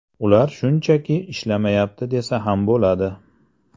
Ular shunchaki ishlamayapti desa ham bo‘ladi .